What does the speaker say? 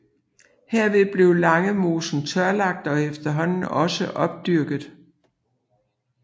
Herved blev Langemosen tørlagt og efterhånden også opdyrket